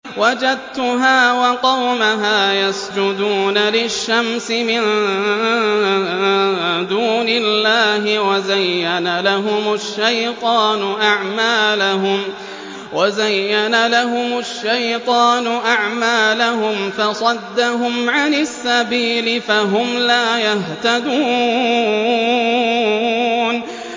وَجَدتُّهَا وَقَوْمَهَا يَسْجُدُونَ لِلشَّمْسِ مِن دُونِ اللَّهِ وَزَيَّنَ لَهُمُ الشَّيْطَانُ أَعْمَالَهُمْ فَصَدَّهُمْ عَنِ السَّبِيلِ فَهُمْ لَا يَهْتَدُونَ